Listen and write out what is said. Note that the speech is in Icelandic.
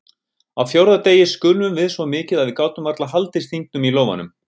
Á fjórða degi skulfum við svo mikið að við gátum varla haldið stingnum í lófanum.